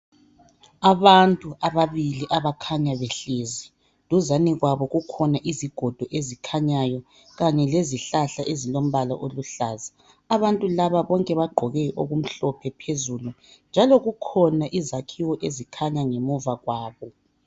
Abantu ababili abakhanya behlezi. Duzane kwabo kukhona izigodo ezikhanyayo. khanye lezihlahla ezilombala oluhlaza. Abantu laba bonke bagqoke okumhlophe phezulu. Njalo kukhona izakhiwo ezikhanya ngemva kwabo.